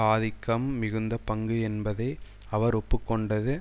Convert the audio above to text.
ஆதிக்கம் மிகுந்த பங்கு என்பதை அவர் ஒப்பு கொண்டது